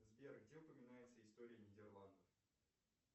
сбер где упоминается история нидерландов